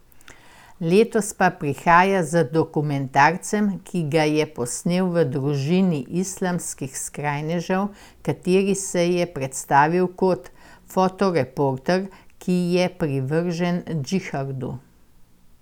Letos pa prihaja z dokumentarcem, ki ga je posnel v družini islamskih skrajnežev, kateri se je predstavil kot fotoreporter, ki je privržen džihadu.